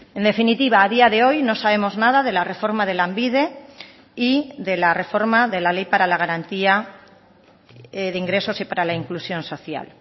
en definitiva a día de hoy no sabemos nada de la reforma de lanbide y de la reforma de la ley para la garantía de ingresos y para la inclusión social